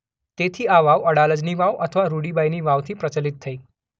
તેથી આ વાવ અડાલજની વાવ અથવા રૂડીબાઇની વાવ થી પ્રચલિત થઇ.